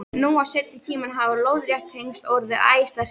Nú á seinni tímum hafa lóðrétt tengsl orðið æ sterkari.